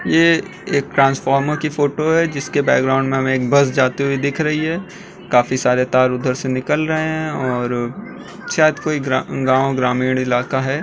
ये एक ट्रांसफार्मर की फोटो है जिसके बैकग्राउंड में हमे एक बस जाती हुई दिख रही है काफी सारे तार उधर से निकल रहें हैं और शायद कोई गाँव ग्रामीण इलाका है।